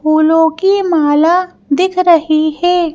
फूलों की माला दिख रही है।